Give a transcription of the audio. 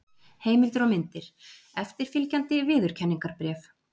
Heimildir og myndir: Eftirfylgjandi viðurkenningarbréf.